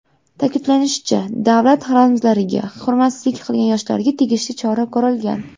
Ta’kidlanishicha, davlat ramzlariga hurmatsizlik qilgan yoshlarga tegishli chora ko‘rilgan.